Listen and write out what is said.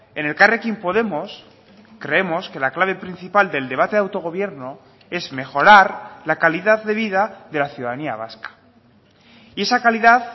en elkarrekin podemos creemos que la clave principal del debate de autogobierno es mejorar la calidad de vida de la ciudadanía vasca y esa calidad